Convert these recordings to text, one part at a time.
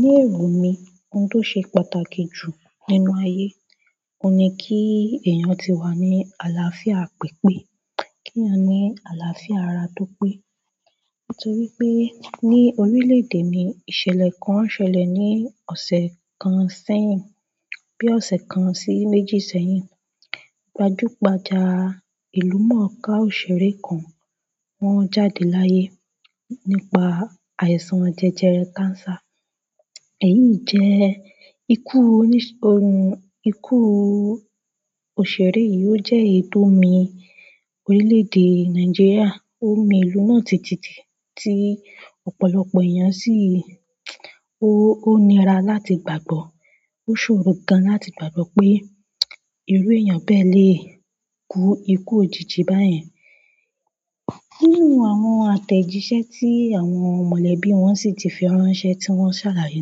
Ní èrò mí, ohun tó ṣe pàtàkì jù nínú ayé, ò n ní kí èèyàn tí wá ní àlàáfíà pípé, kí eeyan ní àlàáfíà ara tó pé. Nítorí pé ní orílẹ̀ èdè mi, ìṣẹ̀lẹ̀ kan ṣẹlẹ̀ ní ọ̀sẹ̀ kan sẹ́yìn, bí ọ̀sẹ̀ kan sí méjì sẹ́yìn. Gbajúgbajà ìlú mọ̀ọ́ká òṣèré kan wọn jáde láyé nípa àìsàn jẹjẹrẹ cancer. Èyí jẹ́ ikú ohun ikú òṣèré yìí ó jẹ́ èyí tò mi orílẹ̀ èdè Nàìjíríà. Òmi ìlú náà títíti tí ọ̀pọ̀lọpọ̀ èèyàn sì, ó níra láti gbàgbọ́. Ó ṣòro gan láti gbàgbọ́ pé ìrú èèyàn bẹ́ẹ́ lè kú ikú òjìji báyẹn. Nínú àwọn àtẹ̀jíṣẹ́ tí àwọn mọ̀lẹ́bí wọn sì ti fẹi ránṣẹ́ tí wọ́n sàlàyé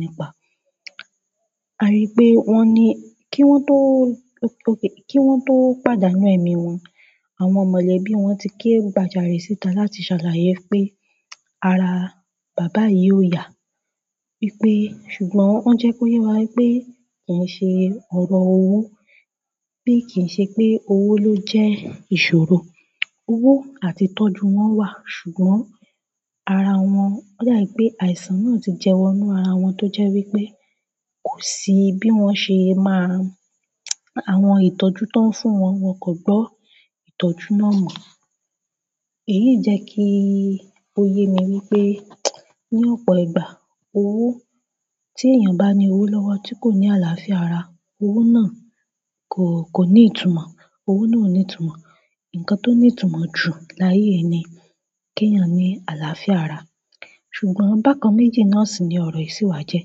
nípa, a rí pe wọ́n ni, ki wọn to pàdánù ẹmi wọn, àwọn mọ̀lẹ́bí wọn ti ké gbàjarè síta láti ṣàlàyé wípé ara baba yín o ya pé ṣùgbọ́n wọ́n jẹ́ kó yé wa pé kì ń ṣe ọ̀rọ̀ owó pe kì ń ṣe pé owó ló jẹ́ ìṣòro. Owó àti ìtọ́jú wọ́n wà, ṣùgbọ́n ara wọn, ó dà pé àìsàn náà ti jẹ wọ́n nínú ara wọn tó jẹ́ wípé kò sí bí wọ́n ṣe máa àwọn ìtọ́jú tó ń fún wọn, wọn kò gbọ́ ìtọ́jú náà mọ̀. Èyí jẹ́ kí ó yé mi wípé ní ọ̀pọ̀ ìgbà, owó tí èèyàn bá ní owó lọ́wọ́ tí kò ní àlàáfíà ara, owó náà kò, kò ní ìtumọ̀. Owó náà ò ní ìtumọ̀. Ǹkan tó ní ìtumọ̀ jù láyé ni kí èèyàn ní àlàáfíà ara. Ṣùgbọ́n bákan méjì náà sì ni ọ̀rọ̀ ìṣíwá jẹ́.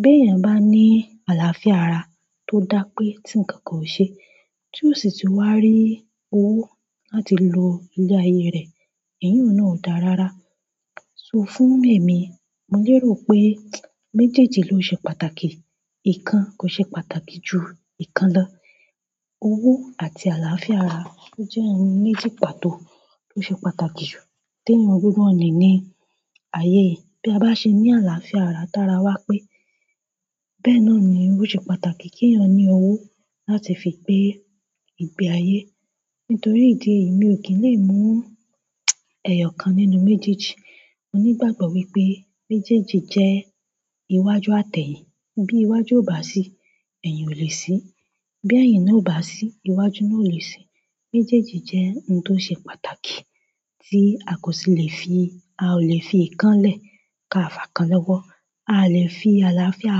Bí èèyàn bá ní àlàáfíà ara tó dá pé tí ǹkankan ò ṣe, tí ò si tun wá rí owó láti lo ilé ayé rẹ̀, eyun náà ó dáa rárá. Fún ẹ̀mí, mo lérò pé méjèèjì ló ṣe pàtàkì. Ìkan kò ṣe pàtàkì ju ìkan lọ. Owó àti àlàáfíà ara ló jẹ́ ohun méjì pàtó tó ṣe pàtàkì jù tí èèyàn gbọdọ̀ ní ní ayé yìí. Bí a bá ṣe ní àlàáfíà ara t'ára wá pé bẹ́ẹ̀ náà ni owó ṣe pàtàkì kí èèyàn ní owó láti fi gbé ìgbé ayé. Nítorí ìdí èyí, mi ò kí ń lè mú ẹyọ kan nínú méjèèjì. Mo ní ìgbàgbọ́ wípé méjèèjì jẹ́ iwájú àtẹ̀yìn. Bí iwájú ò bá sí, ẹ̀yin ò lè sí. Bí ẹ̀yin náà ò bá sí, iwájú náà ò lè sí. Méjèèjì jẹ́ ohun tó ṣe pàtàkì tí a kò sì lè fi, a ò lè fi ìkan lẹ̀ ká fà kan lọ́wọ́. A lè fi àlàáfíà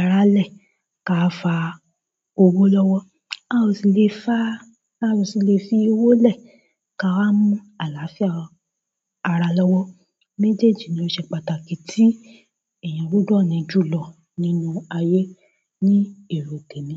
ara lẹ̀ ká fà owó lọ́wọ́. A ò sì lè fá, a ò sì lè fi owó lẹ̀ ká wá mú àlàáfíà ara lọ́wọ́. Méjèèjì ni ó ṣe pàtàkì tí èèyàn gbọdọ̀ ní jùlọ nínú ayé ní èrò temi.